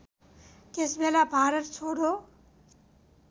त्यसबेला भारत छोडो